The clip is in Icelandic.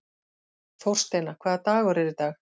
Þórsteina, hvaða dagur er í dag?